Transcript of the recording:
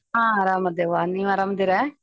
ಹ ಅರಮದೇವ್ ವಾ ನೀವ್ ಅರಾಮಿದಿರ?